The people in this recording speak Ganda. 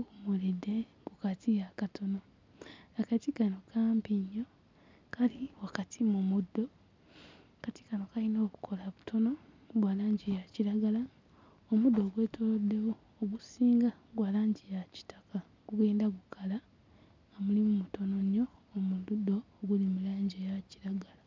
buyimiridde ku kati akatono. Akati kano kampi nnyo kali wakati mu muddo akati kano kayina obukoola butono bwa langi ya kiragala omuddo ogwetooloddewo ogusinga gwa langi ya kitaka gugenda gukala mulimu mutono nnyo mu muddo oguli mu langi eya kiragala.